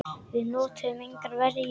Við notuðum engar verjur.